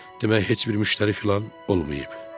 Demək heç bir müştəri filan olmayıb.